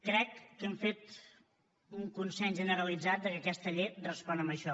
crec que hem fet un consens generalitzat de que aquesta llei respon a això